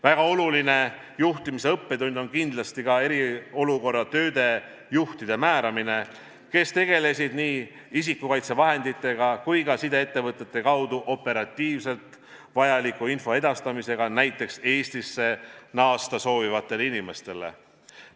Väga oluline juhtimise õppetund oli kindlasti ka eriolukorra tööde juhtide määramine, kes tegelesid nii isikukaitsevahenditega kui ka sideettevõtete kaudu operatiivselt vajaliku info edastamisega näiteks Eestisse naasta soovivatele inimestele.